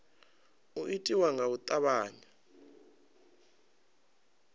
u itiwa nga u tavhanya